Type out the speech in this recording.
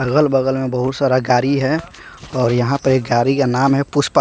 अगल बगल में बहुत सारा गारी है और यहां पे गारी का नाम है पुष्प--